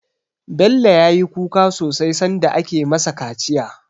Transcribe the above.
Bello ya yi kuka sosai sanda ake ma sa kaciya